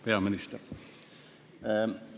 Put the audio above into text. Peaminister!